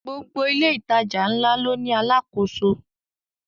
Gbogbo ilé ìtajà ńlá ló ní àlákoso